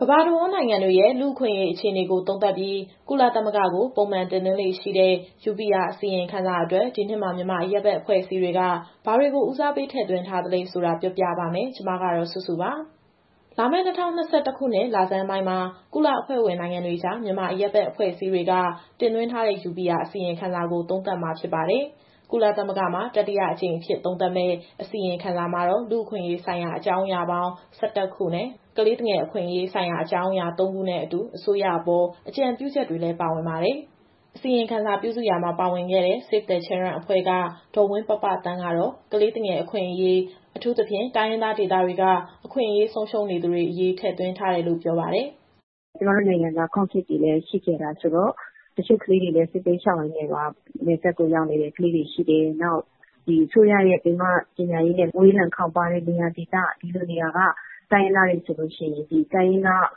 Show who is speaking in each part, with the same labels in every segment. Speaker 1: ကမ္ဘာတဝန်း နိုင်ငံတွေရဲ့ လူ့အခွင့်အရေးအခြေအနေကို သုံးသပ်ပြီးကုလသမဂ္ဂကို ပုံမှန်တင်သွင်းလေ့ရှိတဲ့ UPR အစီရင်ခံစာအတွက် ဒီနှစ်မှာ မြန်မာအရပ်ဘက် အဖွဲ့အစည်းတွေက ဘာတွေကို ဦးစားပေး ထည့်သွင်းထားသလဲဆိုတာ ပြောပြပါမယ်။ ဒီအကြောင်းကို ဗွီအိုအေမြန်မာပိုင်း သတင်းထောက်စုစုက တင်ဆက်ပေးမှာပါ။ လာမယ့် ၂၀၂၁ ခုနှစ် လဆန်းပိုင်းမှာ ကုလအဖွဲ့ဝင်နိုင်ငံတွေကြား မြန်မာအရပ်ဘက်အဖွဲ့အစည်းတွေက တင်သွင်းထားတဲ့ UPR အစီရင်ခံစာကို သုံးသပ်မှာဖြစ်ပါတယ်။ ကုလသမဂ္ဂမှာ တတိယအကြိမ်အဖြစ် သုံးသပ်မယ့် အစီရင်ခံစာမှာတော့ လူ့အခွင့်အရေးဆိုင်ရာ အကြောင်းအရာပေါင်း ၁၁ ခုနဲ့ ကလေးသူငယ်အခွင့်အရေးဆိုင်ရာ အကြောင်းအရာ ၃ခုနဲ့အတူ အစိုးရအပေါ် အကြံပြုချက်တွေလည်း ပါဝင်ပါတယ်။ အစီရင်ခံစာပြုစုရာမှာ ပါဝင်ခဲ့တဲ့ Save the Children အဖွဲ့က ဒေါ်ဝင်းပပသန်းကတော့ ကလေးငယ်တွေ အခွင့်အရေး၊ အထူးသဖြင့် တိုင်းရင်းသားဒေသတွေက အခွင့်အရေးဆုံးရှုံးနေသူတွေအရေး ထည့်သွင်းထားတယ်လို့ ပြောပါတယ်။ “ကျမတို့နိုင်ငံက Conflict တွေလည်း ရှိခဲ့တာဆိုတော့ တချို့ကလေးငယ်တွေလည်း စစ
Speaker 2: ်ဘေးရှောင်ရင်းနဲ့ နယ်စပ်ကိုရောက်နေတဲ့ ကလေးတွေရှိတယ်။ နောက် အစိုးရရဲ့ပင်မပညာရေးနဲ့ ဝေးလံခေါင်းပါးတဲ့နေရာဒေသက တိုင်းရင်းသားတွေဆိုရင် ဒီတိုင်းရင်းသားအ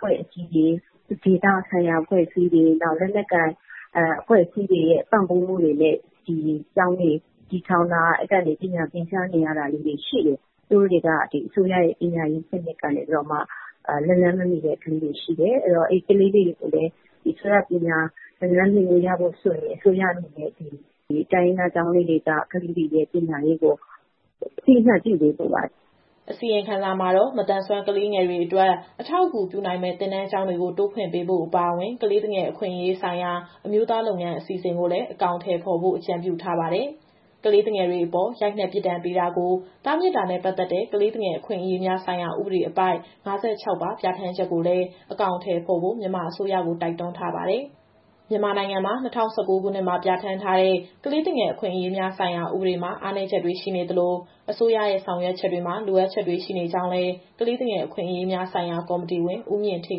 Speaker 2: ဖွဲ့အစည်းတွေ၊ ဒေသဆိုင်ရာအဖွဲ့အစည်းတွေ၊ လက်နက်ကိုင်အဖွဲ့အစည်းတွေရဲ့ ပံ့ပိုးမှုတွေနဲ့ ဒီကျောင်းတွေ တည်ထောင်တာ။ အဲကနေ ပညာသင်ကြားနေရတာလေးတွေ ရှိတယ်။ သူတို့တွေက ဒီအစိုးရရဲ့ပညာရေးစနစ်ကနေပြီးတော့မှ လက်လှမ်းမမှီတဲ့ ကလေးတွေရှိတယ်။ အဲတော့ အဲဒီကလေးတွေကိုလည်း ဒီအစိုးရပညာရေး လက်လှမ်းမှီခွင့်ရဖို့ဆိုရင် အစိုးရအနေနဲ့ တိုင်းရင်းသားကျောင်းလေးတွေက ကလေးတွေရဲ့ပညာရေးကို အသိအမှတ်ပြုပေးဖို့ပါ။
Speaker 1: ” အစီရင်ခံစာမှာတော့ မသန်စွမ်းကလေးငယ်တွေအတွက် အထောက်အကူပြုနိုင်မယ့် သင်တန်းကျောင်းတွေကို တိုးဖွင့်ပေးဖို့အပါအဝင်၊ ကလေးသူငယ် အခွင့်အရေးဆိုင်ရာ အမျိုးသားလုပ်ငန်းအစီအစဉ်ကိုလည်း အကောင်အထည်ဖော်ဖို့ အကြံပြုထားတာပါ။ ကလေးသူငယ်တွေအပေါ် ရိုက်နှက်ပြစ်ဒဏ်ပေးတာကို တားမြစ်တာနဲ့ ပတ်သက်တဲ့ ကလေးသူငယ်အခွင့်အရေးများဆိုင်ရာ ဥပဒေအပိုဒ် ၅၆ ပါ ပြဌာန်းချက်ကိုလည်း အကောင်အထည်ဖော်ဖို့ မြန်မာအစိုးရကို တိုက်တွန်းထားပါတယ်။ မြန်မာနိုင်ငံမှာ ၂၀၁၉ ခုနှစ်မှာ ပြဌာန်းထားတဲ့ ကလေးသူငယ်အခွင့်အရေးများဆိုင်ရာ ဥပဒေမှာ အားနည်းချက်တွေရှိနေသလို၊ အစိုးရရဲ့ ဆောင်ရွက်ချက်တွေမှာ လိုအပ်ချက်တွေရှိနေကြောင်းလည်း ကလေးသူငယ်အခွင့်အရေးများဆိုင်ရာ ကော်မတီဝင် ဦးမြင့်ဌေး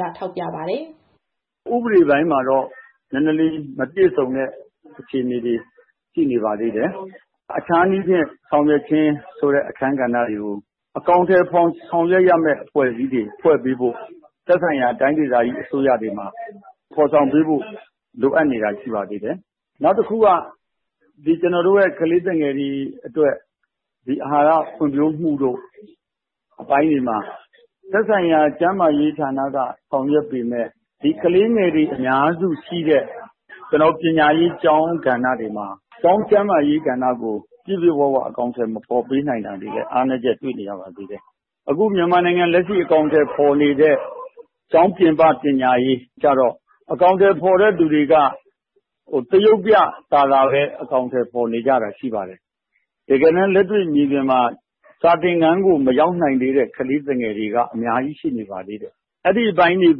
Speaker 1: က ထောက်ပြပါတယ်
Speaker 3: ။ “ဥပဒေပိုင်းမှာတော့ နည်းနည်းလေး မပြည့်စုံတဲ့ အခြေအနေတွေရှိနေပါသေးတယ်။ အခြားနည်းဖြင့်ဆောင်ရွက်ခြင်းဆိုတဲ့ အခန်းကဏ္ဍတွေကို အကောင်အထည်ဖော်ဆောင်ရွက်ရမယ့် အဖွဲ့အစည်းတွေဖွဲ့ပေးဖို့ သက်ဆိုင်ရာတိုင်းဒေသကြီးအစိုးရတွေမှာ ဖော်ဆောင်ပေးဖို့လိုအပ်နေတာ ရှိနေပါသေးတယ်။ နောက်တခုက ကလေးသူငယ်တွေအတွက် အာဟာရဖွံ့ဖြိုးမှုအပိုင်းတွေမှာ သက်ဆိုင်ရာကျန်းမာရေးဌာနက ဆောင်ရွက်ပေမယ့် ဒီကလေးငယ်တွေအများစုရှိတဲ့ ပညာရေးကျောင်းကဏ္ဍတွေမှာ ကျောင်းကျန်းမာရေးကဏ္ဍကို ပြည့်ပြည့်ဝဝအကောင်အထည် မဖော်ပေးနိုင်တာတွေလည်း အားနည်းချက်တွေ့နေရပါသေးတယ်။ အခုမြန်မာနိုင်ငံမှာ လက်ရှိအကောင်အထည်ဖော်နေတဲ့ ကျောင်းပြင်ပ ပညာရေးကတော့ အကောင်အထည်ဖော်နေတဲ့သူတွေက သရုပ်ပြကာလပဲ အကောင်အထည်ဖော်နေကြတာ ရှိပါတယ်။ တကယ်တမ်း လက်တွေ့မြေပြင်မှာ စာသင်ခန်းကို မရောက်နိုင်သေးတဲ့ ကလေးသူငယ်တွေက အများကြီးရှိနေပါသေးတယ်။ အဲဒီအပိုင်းတွေ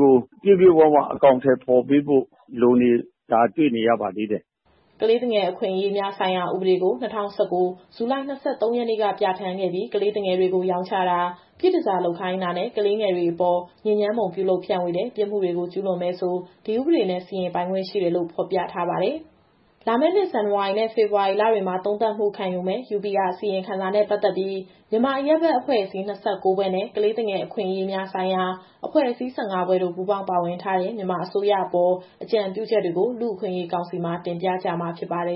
Speaker 3: ကို ပြည့်ပြည့်ဝဝအကောင်အထည်ဖော်ပေးဖို့ လိုနေတာတွေ့နေရပါသေးတယ်။”
Speaker 1: ကလေးသူငယ် အခွင့်အရေးများဆိုင်ရာ ဥပဒေကို ၂၀၁၉ ဇူလိုင် ၂၃ ရက်နေ့က ပြဌာန်းခဲ့ပြီး ကလေးငယ်တွေကို ရောင်းချတာ၊ ပြည့်တန်ဆာလုပ်ခိုင်းတာနဲ့ ကလေးငယ်တွေအပေါ်ညစ်ညမ်းပုံပြုလုပ်ဖြန့်ဝေတဲ့ ပြစ်မှုတွေကို ကျူးလွန်မယ်ဆို ဒီဥပဒေနဲ့ စီရင်ပိုင်ခွင့်ရှိတယ်လို့ ဖော်ပြထားပါတယ်။ လာမယ့်နှစ် ဇန်နဝါရီနဲ့ ဖေဖော်ဝါရီလတွေမှာ သုံးသပ်မှုခံယူမယ့် UPR အစီရင်ခံစာနဲ့ ပတ်သက်ပြီး မြန်မာအရပ်ဘက်အဖွဲ့အစည်း ၂၉ ဖွဲ့နဲ့ ကလေးသူငယ်အခွင့်အရေးဆိုင်ရာ အဖွဲ့အစည်း ၁၅ ဖွဲ့တို့ ပူးပေါင်းပါဝင်ထားတဲ့ မြန်မာအစိုးရအပေါ် အကြံပြုချက်တွေကို လူ့အခွင့်အရေးကောင်စီမှာ တင်ပြကြမှာဖြစ်ပါတယ်